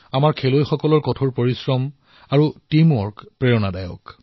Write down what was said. আমাৰ খেলুৱৈসকলৰ কঠোৰ পৰিশ্ৰম আৰু টীমৱৰ্ক সঁচাকৈয়ে প্ৰেৰণাদায়ী